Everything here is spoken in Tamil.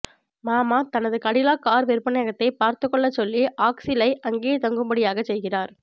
மாமா தனது கடிலாக் கார் விற்பனையகத்தைப் பார்த்துக் கொள்ளச் சொல்லி ஆக்ஸிலை அங்கேயே தங்கும்படியாகச் செய்கிறார்